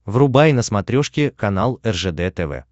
врубай на смотрешке канал ржд тв